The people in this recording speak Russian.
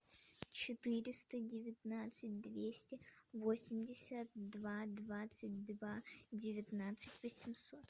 четыреста девятнадцать двести восемьдесят два двадцать два девятнадцать восемьсот